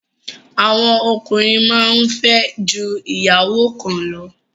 Àwọn ọkùnrin máa ń fẹ́ ju ìyàwó kan lọ